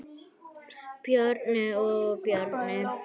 Bjarni og Bjarni